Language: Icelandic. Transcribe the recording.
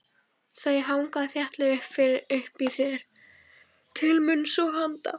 Þau hanga þéttlega uppi þér til munns og handa.